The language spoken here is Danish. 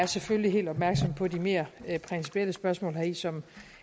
selvfølgelig helt opmærksom på de mere principielle spørgsmål heri som